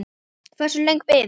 Hversu löng bið?